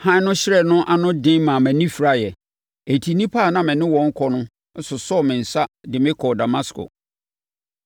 Hann no hyerɛn ano den maa mʼani firaeɛ enti nnipa a na me ne wɔn rekɔ no sosɔɔ me nsa de me kɔɔ Damasko.